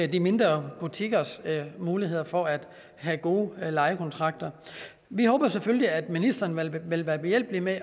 de mindre butikkers muligheder for at have gode lejekontrakter vi håber selvfølgelig at ministeren vil vil være behjælpelig med